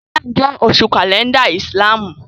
Ràmàdánù jẹ́ oṣù kàlẹ́ndà ìsìlámù